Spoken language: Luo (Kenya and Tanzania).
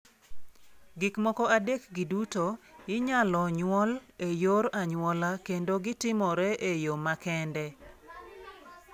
Gik moko adekgi duto inyalo nyuol e yor anyuola kendo gi timore e yo makende.